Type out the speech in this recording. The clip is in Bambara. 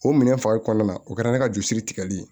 O minɛn farin kɔnɔna na o kɛra ne ka juru sirilen ye